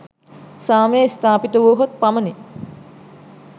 සාමය ස්ථාපිත වුවහොත් පමණි.